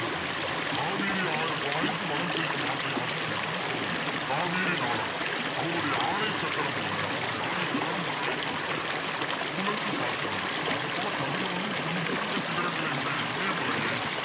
அடுத்து காவிரி ஆறு பாய்ந்து வளம் செய்யும் நாட்டை ஆட்சி செய்பவன் சோழ மன்னன் காவேரி நாடார் அவருடைய ஆணை சக்கரம் போல அவருடைய ஆணை சக்கரம் மக்களை பார்க்கிறது சுழன்று காக்கிறது அது போல கதிரவனும் பொன் போன்ற சிகரங்களை உடைய இமயமலையை